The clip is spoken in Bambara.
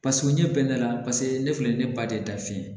Paseke o ɲɛ bɛ ne la paseke ne filɛ nin ye ne ba de da fiɲɛ